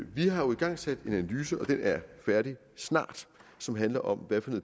vi har jo igangsat en analyse og den er færdig snart som handler om hvad for